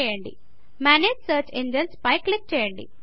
manage search Enginesమేనేజ్ search engines పై click చేయండి